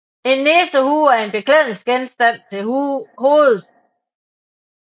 En nissehue er en beklædningsgenstand til hovedet